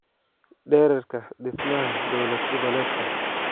dhererka dhismaha dawlad-goboleedka